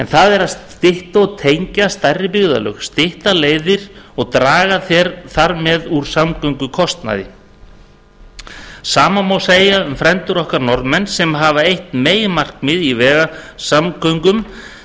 það er að tengja stærri byggðarlög stytta leiðir og draga þar með úr samgöngukostnaði sama má segja um frændur okkar norðmenn sem hafa eitt meginmarkmið í vegasamgöngum